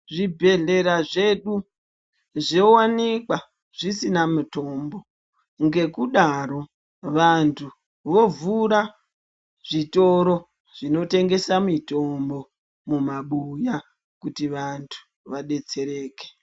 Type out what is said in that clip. Zvibhedhlera zvedu zviowanika zvisina mitombo ngekudaro vantu vovhura zvitoro zvinotengesa mitombo mumabuya kuti vantu vadetsereke .